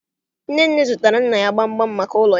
Nnenne zụtaara nna ya gbamgbam maka ụlọ ya